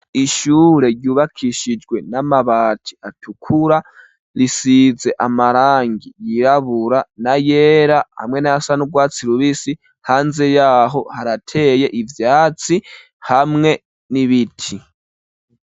Ishure ryubakishijwe n'amabati atukura, risize amarangi yirabura na yera hamwe n'ayasanurwatsi rubisi, hanze yaho harateye ivyatsi hamwe n'ibiti.